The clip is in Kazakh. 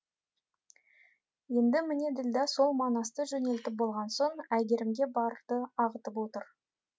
енді міне ділдә сол манасты жөнелтіп болған соң әйгерімге барды ағытып отыр